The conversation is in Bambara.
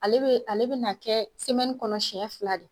Ale bɛ ale bɛ na kɛ kɔnɔ siyɛn fila de.